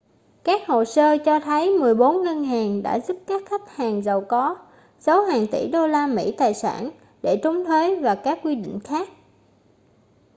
các hồ sơ cho thấy mười bốn ngân hàng đã giúp các khách hàng giàu có giấu hàng tỷ đô la mỹ tài sản để trốn thuế và các quy định khác